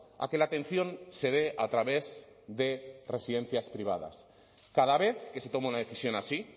a que la atención se dé a través de residencias privadas cada vez que se toma una decisión así